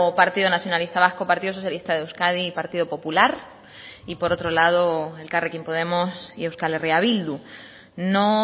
partido nacionalista vasco partido socialista de euskadi y partido popular y por otro lado elkarrekin podemos y euskal herria bildu no